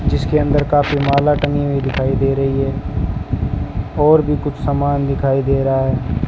जिसके अंदर काफी माला टंगी हुई दिखाई दे रही है और भी कुछ समान दिखाई दे रहा--